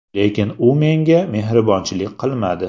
Lekin u menga mehribonchilik qilmadi.